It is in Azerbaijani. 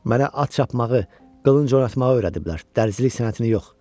Mənə at çapmağı, qılınc oynatmağı öyrədiblər, dərzilik sənətini yox.